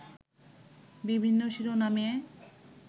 বিভিন্ন শিরোনামে